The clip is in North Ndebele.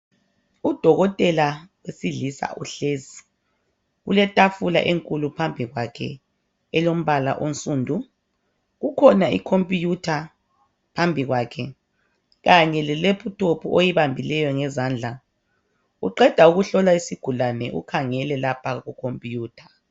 Udokotela wesilisa uhlezi, kuletafula enkulu phambi kwakhe elombala onsundu. Kukhona icomputer phambi kwakhe. Kanye le laptop oyibambileyo ngezandla. Uqeda ukuhlola isigulane ukhangele lapha kucomputer.